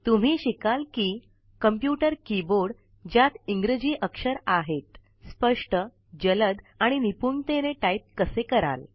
तुम्ही शिकाल कि कॉम्पुटर कीबोर्ड ज्यात इंग्रजी अक्षर आहेत स्पष्ट जलद आणि निपुणतेने टाईप कसे कराल